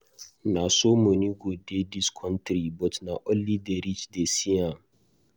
Na so money go dey dis country but na only the rich dey see am.